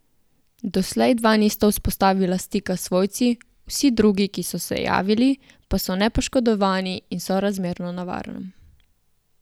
Doslej dva nista vzpostavila stika s svojci, vsi drugi, ki so se javili, pa so nepoškodovani in sorazmerno na varnem.